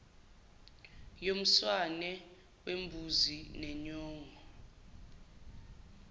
yomswane wembuzi nenyongo